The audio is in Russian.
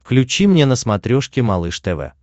включи мне на смотрешке малыш тв